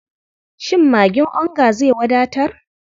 Shin magin onga zai wadatar?